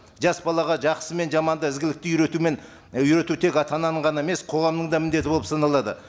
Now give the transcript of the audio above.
жас балаға жақсы мен жаманды ізгілікке үйретумен үйрету тек ата ананың ғана емес қоғамның да міндеті болып саналады